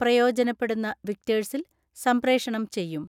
പ്രയോജനപ്പെടുന്ന വിക്ടേഴ്സിൽ സംപ്രേഷണം ചെയ്യും.